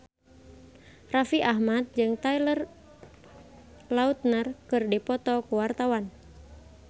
Raffi Ahmad jeung Taylor Lautner keur dipoto ku wartawan